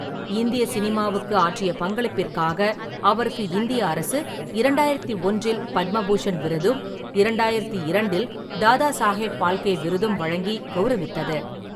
இந்திய சினிமாவுக்கு ஆற்றிய பங்களிப்பிற்காக அவருக்கு இந்திய அரசு இரண்டாயிரத்து ஒன்றில் பத்ம பூஷன் விருதும் இரண்டாயிரத்து இரண்டில் தாதாசாகேப் பால்கே விருதும் வழங்கி கௌரவித்தது.